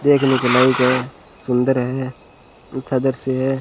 देखने के लायक है सुंदर है अच्छा दृश्य है।